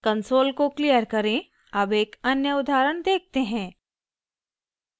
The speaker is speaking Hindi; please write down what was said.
कंसोल को क्लियर करें अब एक अन्य उदाहरण देखते हैं